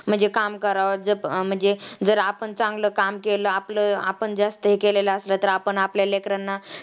म्हणजे काम करावं म्हणजे जर आपण चांगलं काम केलं आपलं आपण जास्त हे केलेलं असलं तर आपण आपल्या लेकरांना